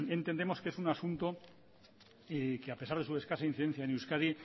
entendemos que es un asunto que a pesar de su escasa incidencia en euskadi